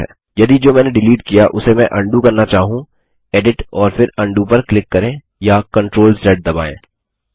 यदि जो मैंने डिलीट किया उसे मैं उंडो करना चाहूँ एडिट और फिर उंडो पर क्लिक करें या सीआरटीएल ज़ दबायें